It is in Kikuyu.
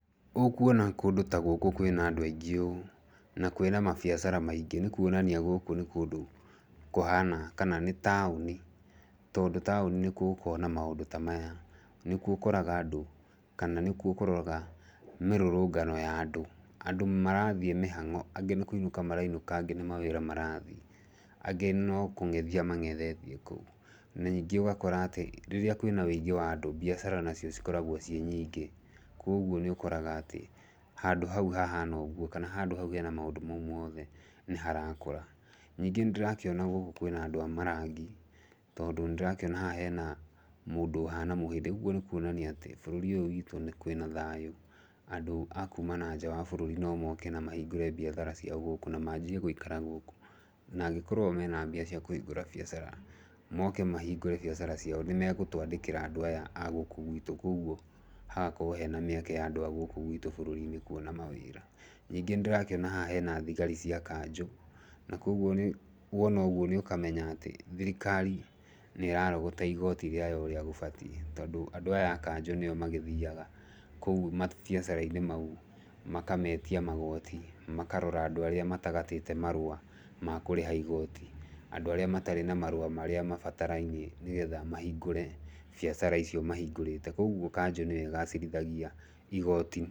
Ũkuona kũndũ ta gũkũ kwĩna andũ aingĩ ũũ, na kwĩna mabiacara maingĩ nĩ kuonania gũkũ nĩ kũndũ kũhana kana nĩ taũni tondũ taũni nĩkuo gũkoragwo na maũndũ ta maya. Nĩkuo ũkoraga andũ kana nĩkuo ũkoraga mĩrũrũngano ya andũ, andũ marathiĩ mĩhango angĩ nĩ kũinĩka marainũka angĩ nĩ mawĩra marathiĩ, angĩ no kũng'ethia mang'ethetie kũu. Ningĩ ũgakora atĩ rĩrĩa kwĩna ũingĩ wa andũ biacara nacio cikoragwo ciĩ nyingĩ. Kwoguo nĩ ũkoraga atĩ handũ hau hahana ũguo kana handũ hau hena maũndũ mau mothe nĩ harakũra. Ningĩ nĩ ndĩrakĩona gũkũ kwĩna andũ marathiĩ tondũ nĩ ndĩrakĩona haha hena mũndũ ũhana mũhĩndĩ. Ũguo nĩ kuonania atĩ bũrũri ũyũ witũ nĩ kwĩna thayũ andũ a kuuma na nja wa bũrũri no moke na mahingũre mbiacara ciao na manjie gũikara gũkũ. Na angĩkorwo o mena mbia cia kũhingũra biacara, moke mahingũre biacara ciao nĩmegũtwandĩkĩra andũ aya a gũkũ gwitũ. Kwoguo hagakorwo hena mĩeke ya andũ a gũkũ bũrũri-inĩ witũ kuona mawĩra. Ningĩ nĩ ndĩrakĩona haha hena thigari cia kanjũ, na kwoguo wona ũguo nĩ ũkamenya atĩ thirikari nĩ ĩrarogota igooti rĩayo ũrĩa gũbatiĩ. Tondũ andũ aya a kanjũ nĩo magĩthiaga kũu mabiacara-inĩ mau makametia magooti, makarora andũ arĩa matagatĩte marũa makũrĩha igooti, andũ arĩa matarĩ na marũa marĩa mabatarainie nĩgetha mahingũre biacara icio mahingũrĩte. Kwoguo kanjũ nĩyo ĩgacĩrithagia igoti.